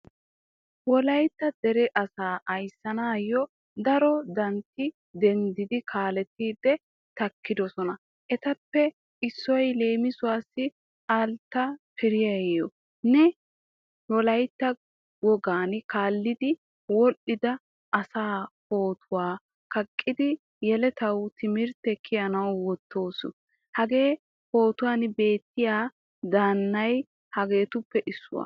Wolaytta dere asa ayssanawu daro daanati denddidi kaalettidi takkidosona. Ettappe issoy leemisuwassi Altaye Firiyaa. Nu wolaytta wogaan kaalettidi wodhdhida asa pootuwaa kaaqqidi yelettawu timirtte kiyanawu woottoos. Hagee pootuwan beettiya daanay hegettuppe issuwaa.